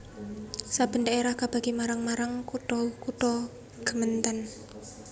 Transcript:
Saben dhaerah kabagi marang marang kutha kutha gemeenten